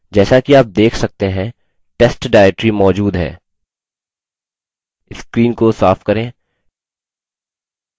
जैसा कि आप let सकते हैं test directory मौजूद है screen को साफ करें